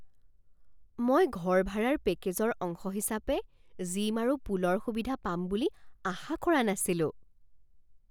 মই ঘৰ ভাড়াৰ পেকেজৰ অংশ হিচাপে জিম আৰু পুলৰ সুবিধা পাম বুলি আশা কৰা নাছিলোঁ।